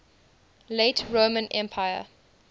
late roman empire